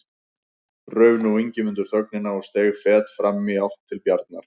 Rauf nú Ingimundur þögnina og steig fet fram í átt til Bjarnar.